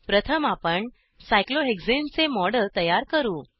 प्रथम आपण सायक्लोहेक्साने चे मॉडेल तयार करू